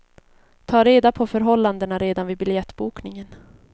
Tag reda på förhållandena redan vid biljettbokningen.